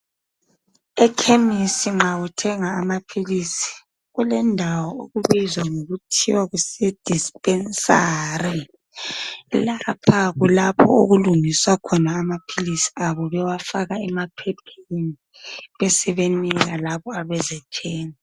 Ekhemesi nxa uthenga amaphilisi kulendawo okubizwa ngokuthiwa kusedisipesari lapha kulapho okulungiswa khona amaphilisi abo bewafaka emaphepheni besebenika labo abezethenga.